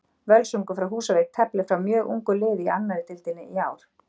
Völsungur frá Húsavík teflir fram mjög ungu liði í annarri deildinni í ár.